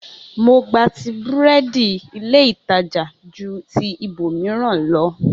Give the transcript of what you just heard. Mo gbati búrẹ́dì ilé ìtajà ju ti ibòmíràn lọ